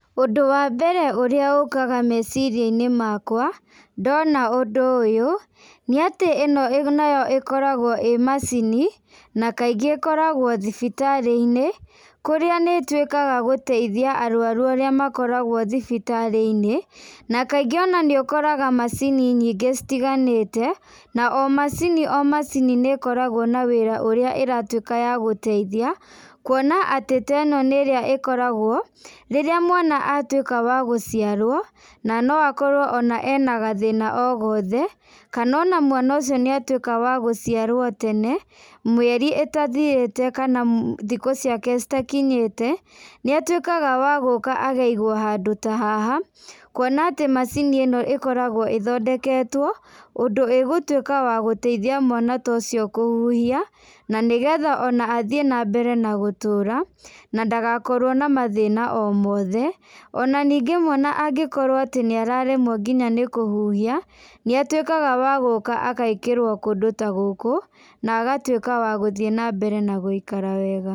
Ũndũ wa mbere ũrĩa ũkaga meciria-inĩ makwa, ndona ũndũ ũyũ, nĩ atĩ ĩno nayo ĩkoragwo ĩ macini, na kaingĩ ĩkoragwo thibitarĩ-inĩ, kũrĩa nĩ ĩtuĩkaga gũtaithia arwaru arĩa makoragwo thibitarĩ-inĩ, na kaingĩ onanĩũkoraga macini nyingĩ citiganĩte, na omacini omacini nĩ ĩkoragwo na wĩra ũrĩa ĩratuĩka ya gũtaithia, kũona atĩ ta ĩno nĩ ĩrĩa ĩkoragwo, rĩrĩa mwana atuĩka wagũciarwo, na noakorwo ona enagathĩna ogothe, kana ona mwana ũcio nĩatuĩka wagũciarwo tene, mĩeri ĩtathirĩte kana thikũ ciake citakinyĩte, nĩatuĩkaga wa gũka akaigwo handũ ta haha, kuona atĩ macini ĩno ĩkoragwo ĩthondeketwo, ũndũ ĩgũtuĩka ya gũtaithia mwana ta ũcio kũhuhia, na nĩgetha athiĩ nambere na gũtũra, na ndagakorwo na mathĩna omothe, ona ningĩ mwana angĩkorwo atĩ nĩ araremwo nginya nĩkũhuhia, nĩatuĩkaga wagũka agekĩrwo kũndũ tagũkũ, na agatuĩka wagũthiĩ nambere na gũikiara wega.